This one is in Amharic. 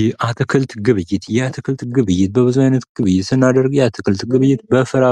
የአትክልት ግብይት:-የአትክልት ግብይት በብዙ አይነት ግብይት ስናደርግ የአትክልት ግብይት በፍሬ፣